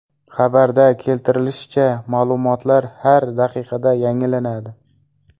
Xabarda keltirilishicha, ma’lumotlar har daqiqada yangilanadi.